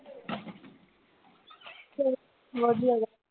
ਫੇਰ ਵਧੀਆ